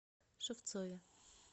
шевцове